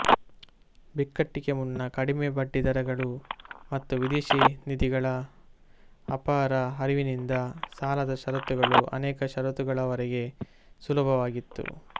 ಬಿಕ್ಕಟ್ಟಿಗೆ ಮುನ್ನ ಕಡಿಮೆ ಬಡ್ಡಿ ದರಗಳು ಮತ್ತು ವಿದೇಶಿ ನಿಧಿಗಳ ಅಪಾರ ಹರಿವಿನಿಂದ ಸಾಲದ ಷರತ್ತುಗಳು ಅನೇಕ ವರ್ಷಗಳವರೆಗೆ ಸುಲಭವಾಗಿತ್ತು